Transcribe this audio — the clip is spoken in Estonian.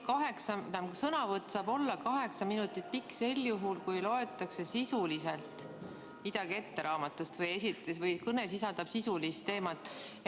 Sõnavõtt saab olla kaheksa minutit pikk sel juhul, kui loetakse sisuliselt midagi ette raamatust või kõne sisaldab sisulist teemat.